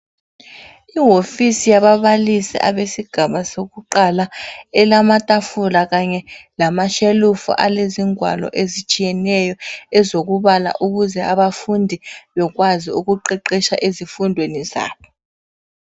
Ihofisi yaba balisi abesigaba sokuqala elamatafula kanye lama shelufu alezi ngwalo ezitshiyeneyo ezokubala ukuze abafundi bekwazi ukuqeqesha ezifundweni zabo.